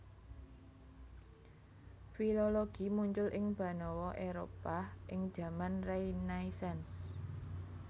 Filologi muncul ing banawa Éropah ing jaman Renaisans